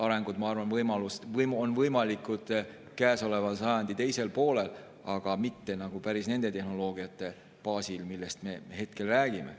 Arengud, ma arvan, on võimalikud käesoleva sajandi teisel poolel, aga mitte päris nende tehnoloogiate baasil, millest me hetkel räägime.